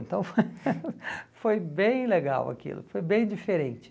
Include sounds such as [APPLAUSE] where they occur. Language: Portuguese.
Então foi [LAUGHS] foi bem legal aquilo, foi bem diferente.